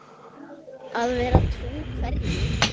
Að vera trú hverju?